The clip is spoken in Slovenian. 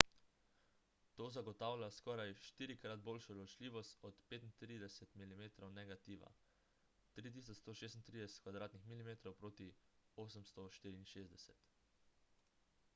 to zagotavlja skoraj štirikrat boljšo ločljivost od 35-mm negativa 3136 mm2 proti 864